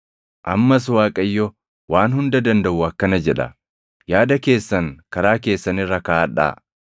Ammas Waaqayyo Waan Hunda Dandaʼu akkana jedha: “Yaada keessan karaa keessan irra kaaʼadhaa.